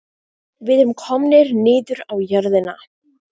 Við erum komnir niður á jörðina